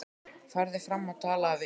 Farðu fram og talaðu við Ínu.